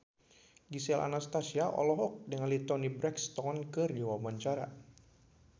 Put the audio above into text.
Gisel Anastasia olohok ningali Toni Brexton keur diwawancara